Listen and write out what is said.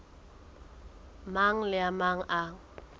mang le a mang a